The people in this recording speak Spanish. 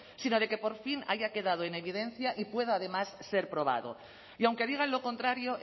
sino de que por fin haya quedado en evidencia y pueda además ser probado y aunque digan lo contrario